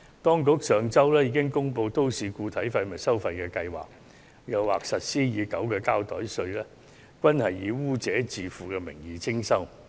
當局上周已公布都市固體廢物收費計劃，加上實施已久的膠袋稅，均是以"污染者自付"的名義徵收。